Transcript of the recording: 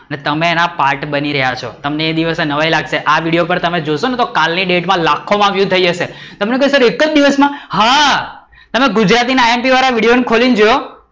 અને તમે અને part બની રહ્યા છો, તમને એ દિવસે નવાય લાગશે આ વિડિયો પર જોશો ને તો કાલ ની ડેટ માં લાખો માં view થઇ જશે તમે કેશો એક જ દિવસ માં? હા, તમે ગુજરાતી ના imp વાળા વિડિઓ ખોલી ને જોયો?